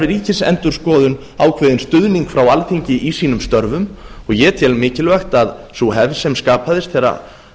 ríkisendurskoðun ákveðinn stuðning frá alþingi í sínum störfum og ég tel mikilvægt að sú hefð sem skapaðist þegar